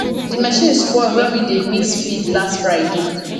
the machine spoil when we dey mix feed last friday